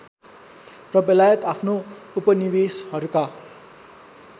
र बेलायत आफ्नो उपनिवेसहरूका